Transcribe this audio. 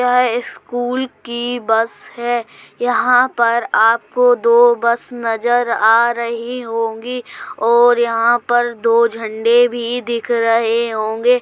यह स्कूल की बस है | यहाँ पर आपको दो बस नज़र आ रही होंगी और यहाँ पर दो झंडे भी दिख रहे होंगे।